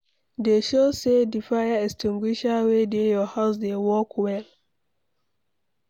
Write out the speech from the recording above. Dey sure sey di fire extinguisher wey dey your house dey work well